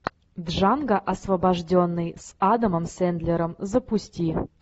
джанго освобожденный с адамом сэндлером запусти